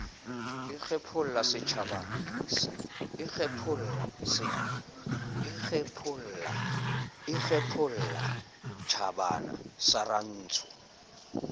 e kgephola tjhabana sa rantsho